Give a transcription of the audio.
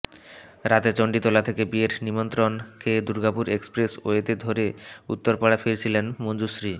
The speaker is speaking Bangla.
রাতে চণ্ডীতলা থেকে বিয়ের নিমন্ত্রণ খেয়ে দুর্গাপুর এক্সপ্রেসওয়ে ধরে উত্তরপাড়া ফিরছিলেন মঞ্জুশ্রী